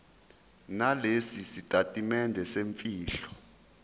nalesi sitatimende semfihlo